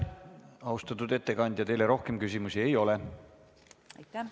Austatud ettekandja, teile rohkem küsimusi ei ole.